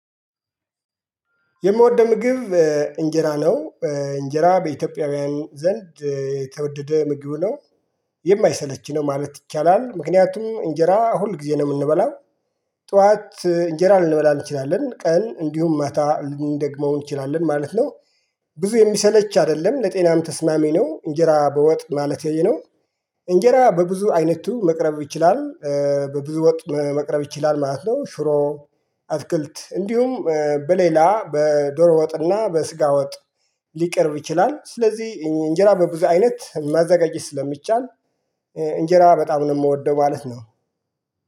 የምወደው ምግብ እንጀራ ነው። እንጀራ በኢትዮጵያውያን ዘንድ የተወደደ ምግብ ነው። የማይሰለች ነው ማለት ይቻላል ምክንያቱም እንጀራ ሁል ጊዜ ነው የምንበላው። ጠዋት እንጀራ ልንበላ እንችላለን ቀን እንዲሁም ማታ ልንደግመው እንችላለን ማለት ነው። ብዙ የምሰለች አይደለም። ለጤናም ተስማሚ ነው እንጀራ በወጥ ማለቴ ነው። እንጀራ በብዙ አይነቱ መቅረብ ይችላል። በብዙ ወጥ መቅረብ ይችላል ማለት ነው። ሽሮ አትክልት። እንዲሁም በሌላ በዶሮ ወጥና በስጋ ወጥ ልቀርብ ይችላል። ስለዚህ እንጀራ በብዙ አይነት ማዘጋጅት ስለሚቻል እንጀራ በጣም ነው የምወደው ማለት ነው።